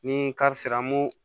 Ni kari sera an b'o